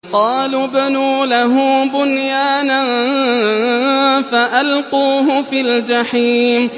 قَالُوا ابْنُوا لَهُ بُنْيَانًا فَأَلْقُوهُ فِي الْجَحِيمِ